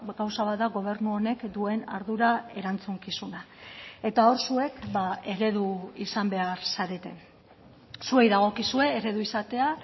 gauza bat da gobernu honek duen ardura erantzukizuna eta hor zuek eredu izan behar zarete zuei dagokizue eredu izatea